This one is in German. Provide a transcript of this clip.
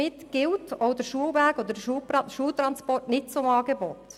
Damit gehören der Schulweg und der Schultransport nicht zum Angebot.